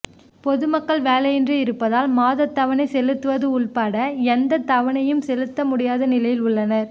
பொதுமக்கள் வேலையின்றி இருப்பதால் மாதத்தவணை செலுத்துவது உள்பட எந்த தவணையையும் செலுத்த முடியாத நிலையில் உள்ளனர்